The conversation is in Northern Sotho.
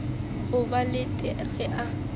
ga ba lete ge a